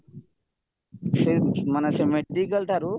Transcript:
ସେଇ ମାନେ ସେ ମେଡିକାଲ ଠାରୁ